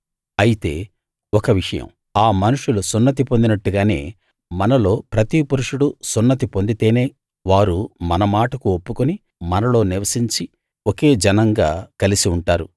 అయితే ఒక విషయం ఆ మనుషులు సున్నతి పొందినట్టుగానే మనలో ప్రతి పురుషుడు సున్నతి పొందితేనే వారు మన మాటకు ఒప్పుకుని మనలో నివసించి ఒకే జనంగా కలిసి ఉంటారు